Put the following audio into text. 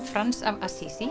Frans af